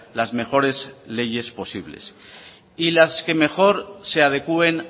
las mejores leyes posibles y las que mejor se adecúen